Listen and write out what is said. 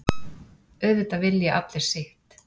Auðvitað vilji allir sitt.